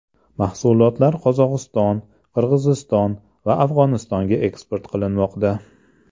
Mahsulotlar Qozog‘iston, Qirg‘iziston va Afg‘onistonga eksport qilinmoqda.